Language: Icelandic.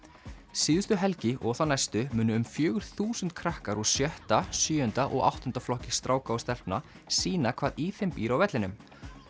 síðustu helgi og þá næstu munu um fjögur þúsund krakkar úr sjötta sjöunda og áttunda flokki stráka og stelpna sýna hvað í þeim býr á vellinum